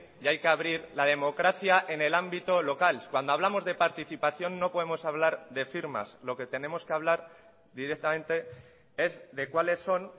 y hay que abrir la democracia en el ámbito local cuando hablamos de participación no podemos hablar de firmas lo que tenemos que hablar directamente es de cuáles son